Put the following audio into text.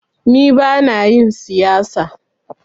Ni bana yin siyasa.